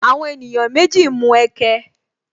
Àwọn ènìyàn méjì ń mu ẹkẹ